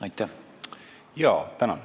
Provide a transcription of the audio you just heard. Tänan!